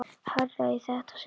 Hærra í þetta sinn.